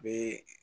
Bee